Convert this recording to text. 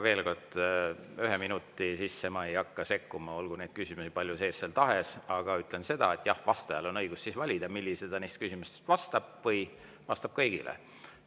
Veel kord: ühe minuti asjus ma ei hakka sekkuma, olgu neid küsimusi seal palju tahes, aga ütlen, et jah, vastajal on õigus valida, millisele neist küsimustest ta vastab, ta võib vastata ka kõigile.